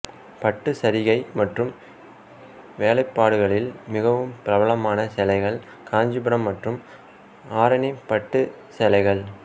பட்டு சரிகை மற்றும் வேலைப்பாடுகளில் மிகவும் பிரபலமான சேலைகள் காஞ்சிபுரம் மற்றும் ஆரணி பட்டு சேலைகள்